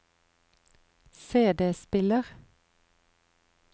CD-spiller